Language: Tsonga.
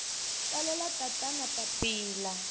tsalela tatana papila